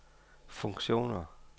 funktioner